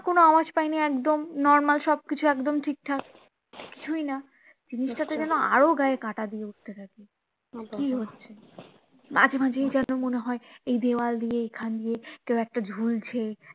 কোনো আওয়াজ পায় নি একদম normal সবকিছু একদম ঠিক ঠাক কিছুই না জিনিসটাতে যেন আরো গায়ে কাটা দিয়ে উঠতে থাকে কি হচ্ছে মাঝে মাঝেই যেন মনে হয় এই দেওয়াল দিয়ে এখানে দিয়ে কেউ একটা ঝুলছে